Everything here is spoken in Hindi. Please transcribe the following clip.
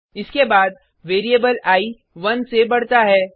इसके बाद वेरिएबल आई 1 से बढता है